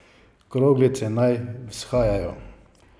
Kroglice naj vzhajajo.